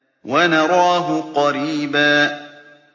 وَنَرَاهُ قَرِيبًا